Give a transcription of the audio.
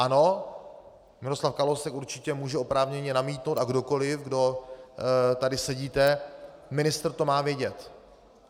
Ano, Miroslav Kalousek určitě může oprávněně namítnout, a kdokoli, kdo tady sedíte, ministr to má vědět.